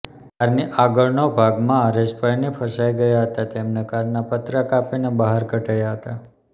કારની આગળનો ભાગમાં હરેશભાઇની ફસાઇ ગયા હતા તેમને કારના પતરા કાપીને બહાર કઢાયા હતા